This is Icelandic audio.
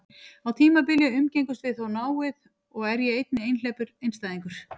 Á tímabili umgengumst við þó náið, og er ég einnig einhleypur einstæðingur.